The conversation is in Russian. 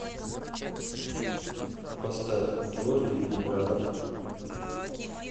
поставь георгий виноградов